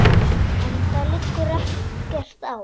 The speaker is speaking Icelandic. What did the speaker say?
Enda liggur ekkert á.